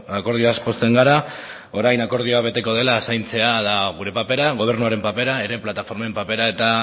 akordioaz pozten gara orain akordioa beteko dela zaintzea gure papera gobernuaren papera ere plataformen papera eta